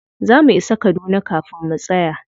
Za mu isa kaduna kafin mu tsaya.